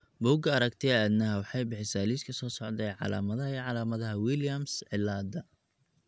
Bugga Aragtiyaha Aanadanaha waxay bixisaa liiska soo socda ee calaamadaha iyo calaamadaha Williams cilaada.